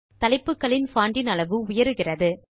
தலைப்புகளின் bond இன் அளவு உயருகிறது